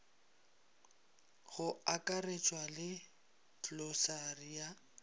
go akaretšwa le klosari ya